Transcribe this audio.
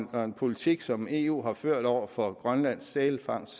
og en politik som eu har ført over for grønlands sælfangst